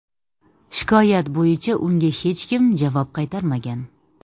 Shikoyat bo‘yicha unga hech kim javob qaytarmagan.